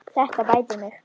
Þetta bætir mig.